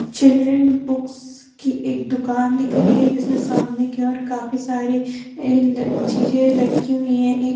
children books की एक दुकान दिख रही है जिसमें सामने की और काफी सारे चीजें लटकी हुई हैं एक--